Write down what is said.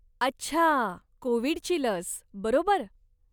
अच्छा, कोविडची लस, बरोबर?